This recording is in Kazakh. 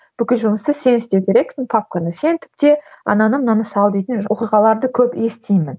бүкіл жұмысты сен істеу керексің папканы сен түпте ананы мынаны сал дейтін көп оқиғаларды көп естимін